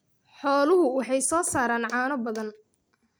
Xooluhu waxay soo saaraan caano badan.